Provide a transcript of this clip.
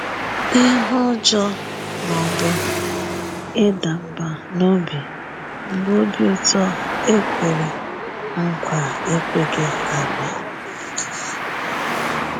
Ihu ụjọ ma ọ bụ ịda mbà n’obi mgbe obi ụtọ a kwere nkwa ekweghị abịa.